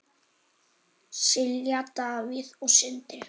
Silja, Davíð og Sindri.